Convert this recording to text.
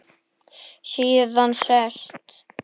Síðan sest